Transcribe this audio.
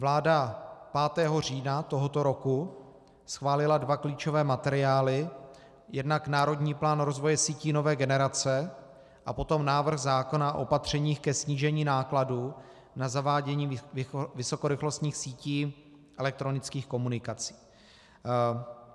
Vláda 5. října tohoto roku schválila dva klíčové materiály, jednak Národní plán rozvoje sítí nové generace a potom návrh zákona o opatřeních ke snížení nákladů na zavádění vysokorychlostních sítí elektronických komunikací.